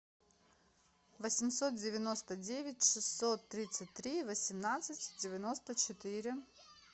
восемьсот девяносто девять шестьсот тридцать три восемнадцать девяносто четыре